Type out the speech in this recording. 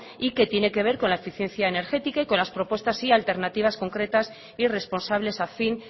y que tiene que ver con la eficiencia energética y con las propuestas y alternativas concretas y responsables a fin